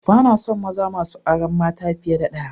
Bana son maza masu auren mata fiye da ɗaya